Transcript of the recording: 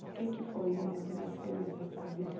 Por que que foi o momento mais feliz da sua vida?